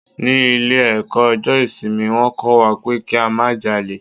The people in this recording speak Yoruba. Ní ilé ẹ̀kọ́ ọjọ́ ìsinmi, wón kó wa pé kí a má jalè.